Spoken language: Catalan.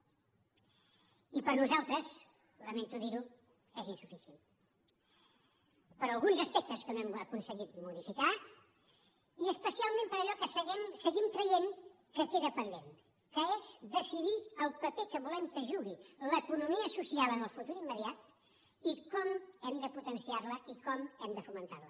i per nosaltres lamento dir ho és insuficient per alguns aspectes que no hem aconseguit modificar i especialment per allò que seguim creient que queda pendent que és decidir el paper que volem que jugui l’economia social en el futur immediat i com hem de potenciar la i com hem de fomentar la